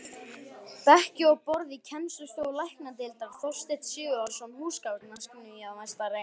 Bekki og borð í kennslustofur læknadeildar: Þorsteinn Sigurðsson, húsgagnasmíðameistari.